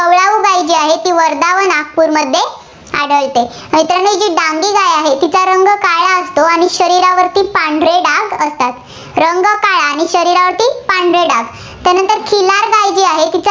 गाय जी आहे, ती वर्धा व नागपूरमध्ये आढळते. मित्रांनो जी डांगी गाय आहे, तिचा रंग काळा असतो, आणि शरीरावरती पांढरे डाग असतात. रंग काळा आणि शरीरावरती पांढरे डाग, त्यानंतर खिलार गायजी आहे,